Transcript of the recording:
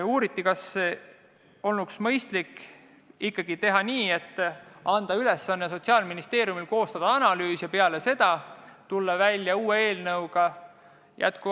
Uuriti, kas polnuks mõistlik teha ikkagi nii, et kõigepealt anda Sotsiaalministeeriumile ülesandeks koostada analüüs ja peale seda tulla uue eelnõuga välja.